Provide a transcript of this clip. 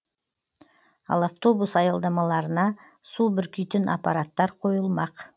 ал автобус аялдамаларына су бүркитін аппараттар қойылмақ